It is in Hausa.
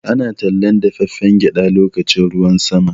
Ana tallar dafaffen gyaɗa lokacin ruwan sama.